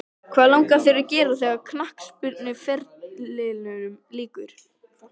Honum varð litið á líkneskið og svipmót hans harðnaði.